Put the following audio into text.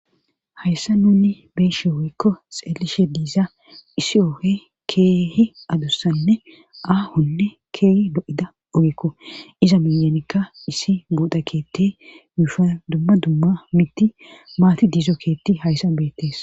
Hayssa nuni beeshe ooekko xeelishe diiza issi oohe keehi adossanne aahonne keehi do7ida ogekko iza miyenikka issi boda keetti muufa dumma dumma mitti maati diizo keetti hayssa beettees.